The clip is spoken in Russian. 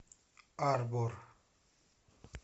арбор